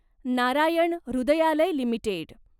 Narayan Hrudayalaya limited